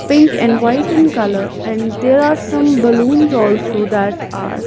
pink and white in color and there are some balloons also that are--